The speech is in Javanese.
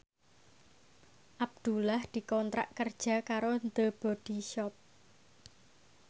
Abdullah dikontrak kerja karo The Body Shop